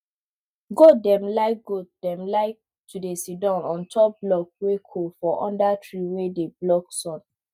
goat dem like goat dem like to dey sidon ontop block wey cold for under tree wey dey block sun